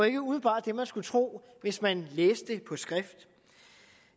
ikke umiddelbart det man skulle tro hvis man læste det på skrift